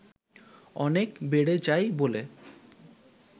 অনেক বেড়ে যায় বলে